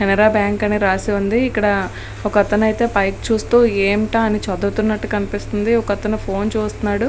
Canara bank అని రాసి ఉంది ఇక్కడ ఒక అతను పైకి చూస్తూ ఏమిటా అని చదువుతున్నట్టు కనిపిస్తుంది ఒక అతని ఫోన్ చూస్తున్నాడు.